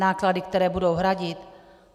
Náklady, které budou hradit?